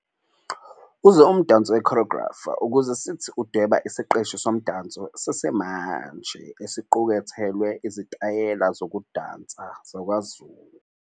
Uze umdanso we-choreographer ukuze sithi ukudweba isiqeshi somdanso sesimanje, esiqukethelwe izitayela zokudansa zakwaZulu.